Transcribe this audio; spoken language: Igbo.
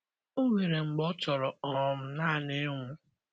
O nwere mgbe ọ chọrọ um naanị ịnwụ.